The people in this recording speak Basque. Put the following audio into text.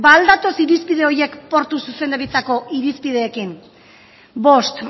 ba al datoz irizpide horiek portu zuzendaritzako irizpideekin bost